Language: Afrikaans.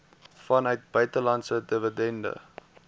vanuit buitelandse dividende